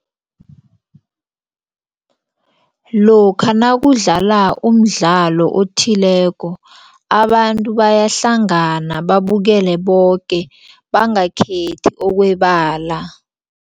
Lokha nakudlala umdlalo othileko abantu bayahlangana babukele boke bangakhethi okwebala.